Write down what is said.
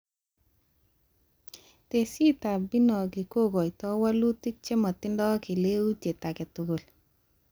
Tesisyitab Binogi kokotoi walutik chematindoi keleutiet aketugul